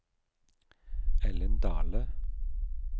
Ellen Dahle